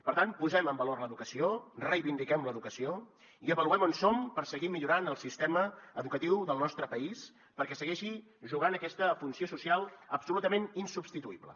per tant posem en valor l’educació reivindiquem l’educació i avaluem on som per seguir millorant el sistema educatiu del nostre país perquè segueixi jugant aquesta funció social absolutament insubstituïble